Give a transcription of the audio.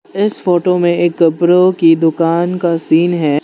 इस फोटो में एक कपड़ों की दुकान का सीन है।